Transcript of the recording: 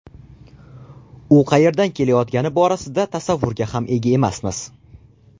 U qayerdan kelayotgani borasida tasavvurga ham ega emasmiz.